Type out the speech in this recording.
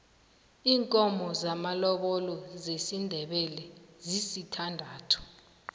iinkomo zamalobolo zesindebele zisithandathu